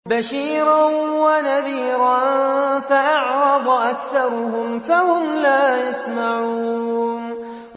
بَشِيرًا وَنَذِيرًا فَأَعْرَضَ أَكْثَرُهُمْ فَهُمْ لَا يَسْمَعُونَ